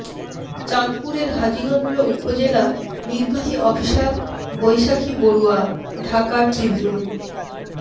চাঁদপুরের হাজীগঞ্জ উপজেলা নির্বাহী অফিসার বৈশাখী বড়ুয়া ঢাকা ট্রিবিউন